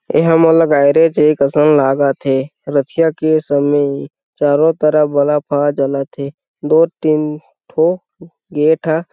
ए हमन ल गैरेज एक असन लागा थे रथिया के समय ए चारों तरफ बलब हा जला थे दो तीन थो गेट ह--